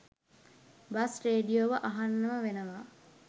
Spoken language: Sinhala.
බස් රේඩියෝව අහන්නම වෙනවා